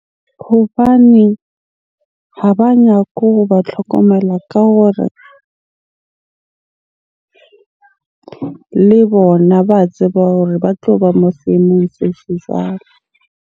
Hobaneng ha ba nyake hoba tlhokomela ka hore le bona ba tseba hore ba tloba moo seemong se jwalo?